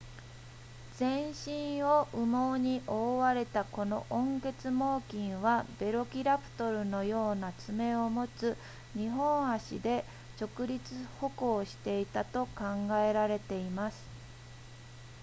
全身を羽毛に覆われたこの温血猛禽はヴェロキラプトルのような爪を持つ2本足で直立歩行していたと考えられています